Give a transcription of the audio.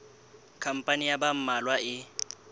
khampani ya ba mmalwa e